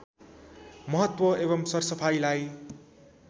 महत्व एवं सरसफाईलाई